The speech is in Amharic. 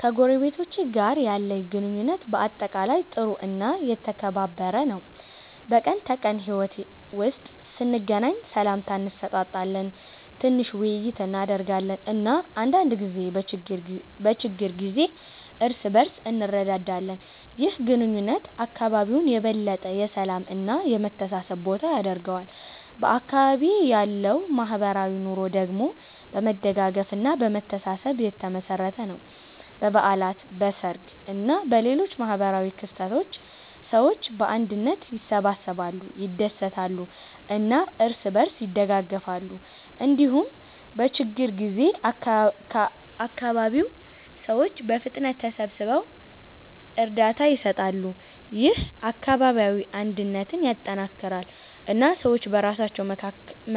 ከጎረቤቶቼ ጋር ያለኝ ግንኙነት በአጠቃላይ ጥሩ እና የተከባበረ ነው። በቀን ተቀን ሕይወት ውስጥ ስንገናኝ ሰላምታ እንሰጣጣለን፣ ትንሽ ውይይት እናደርጋለን እና አንዳንድ ጊዜ በችግር ጊዜ እርስ በእርስ እንረዳዳለን። ይህ ግንኙነት አካባቢውን የበለጠ የሰላም እና የመተሳሰብ ቦታ ያደርገዋል። በአካባቢዬ ያለው ማህበራዊ ኑሮ ደግሞ በመደጋገፍ እና በመተሳሰብ የተመሠረተ ነው። በበዓላት፣ በሰርግ እና በሌሎች ማህበራዊ ክስተቶች ሰዎች በአንድነት ይሰበሰባሉ፣ ይደሰታሉ እና እርስ በእርስ ይደጋገፋሉ። እንዲሁም በችግኝ ጊዜ አካባቢው ሰዎች በፍጥነት ተሰብስበው እርዳታ ይሰጣሉ። ይህ አካባቢያዊ አንድነትን ያጠናክራል እና ሰዎች በራሳቸው